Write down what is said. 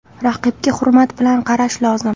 Raqibga hurmat bilan qarash lozim.